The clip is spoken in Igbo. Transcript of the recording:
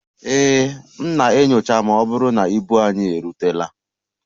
Ee, m na-enyocha ma ọ bụrụ na ibu anyị erutela